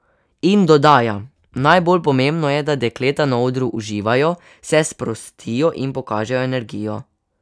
In dodaja: 'Najbolj pomembno je, da dekleta na odru uživajo, se sprostijo in pokažejo energijo.